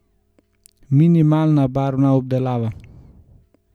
Minimalna barvna obdelava.